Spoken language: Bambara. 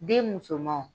Den musomanw